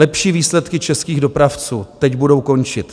Lepší výsledky českých dopravců teď budou končit.